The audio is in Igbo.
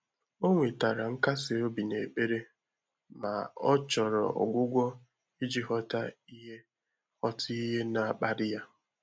Ọ́ nwètàrà nkàsị́ óbí n’ékpèré mà ọ́ chọ́rọ̀ ọ́gwụ́gwọ́ ìjí ghọ́tà ìhè ghọ́tà ìhè nà-ákpàlí yá.